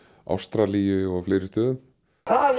Ástralíu og fleiri stöðum það